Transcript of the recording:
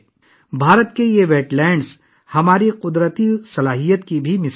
بھارت کی یہ آبی ذکائر بھی ہماری قدرتی صلاحیت کی ایک مثال ہیں